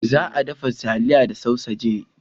Za a dafa taliyar da sausajin.